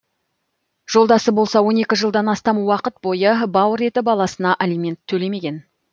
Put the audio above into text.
жолдасы болса он екі жылдан астам уақыт бойы бауыр еті баласына алимент төлемеген